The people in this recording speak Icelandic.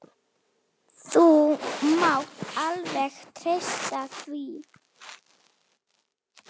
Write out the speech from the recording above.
Þú mátt alveg treysta því.